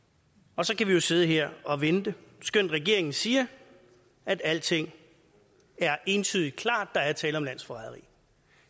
og så kan vi jo sidde her og vente skønt regeringen siger at alting er entydig klart der er tale om landsforræderi